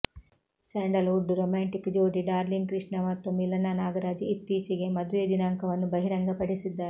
sandal wood romantic ಜೋಡಿ Darling Krishna ಮತ್ತು ಮಿಲನಾ ನಾಗರಾಜ್ ಇತ್ತೀಚಿಗೆ ಮದುವೆ ದಿನಾಂಕವನ್ನು ಬಹಿರಂಗ ಪಡಿಸಿದ್ದಾರೆ